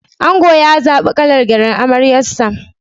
Ango ya zaɓa kalar gyallen amaryarsa.